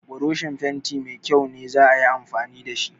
Broshin fenti mai kyau ne za a yi amfani da shi.